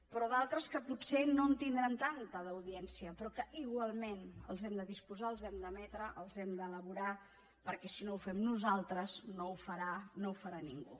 però d’altres que potser no en tindran tanta d’audiència però que igualment n’hem de disposar els hem d’emetre els hem d’elaborar perquè si no ho fem nosaltres no ho farà no ho farà ningú